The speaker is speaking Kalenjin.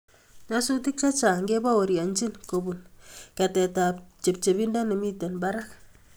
Nyasutiik chechang kebaurienchini kobun keteetab chepchebindo nemitei barak.